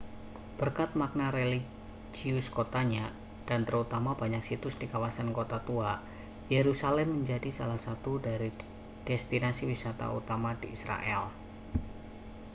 berkat makna religius kotanya dan terutama banyak situs di kawasan kota tua yerusalem menjadi salah satu dari destinasi wisata utama di israel